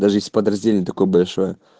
даже если подразделение такое большое